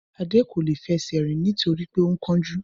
Adé kò lè fẹsẹ̀ rìn torí pé ó ń kánjú